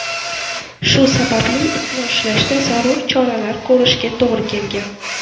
Shu sababli itni ushlashda zarur choralar ko‘rishga to‘g‘ri kelgan.